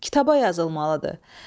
Kitaba yazılmalıdır.